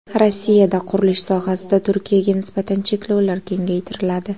Rossiyada qurilish sohasida Turkiyaga nisbatan cheklovlar kengaytiriladi.